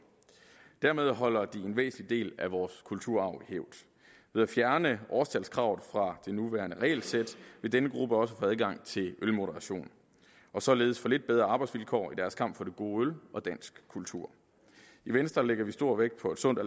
dermed holder de en væsentlig del af vores kulturarv i hævd ved at fjerne årstalskravet fra det nuværende regelsæt vil denne gruppe også få adgang til ølmoderation og således få lidt bedre arbejdsvilkår i deres kamp for det gode øl og dansk kultur i venstre lægger vi stor vægt på et sundt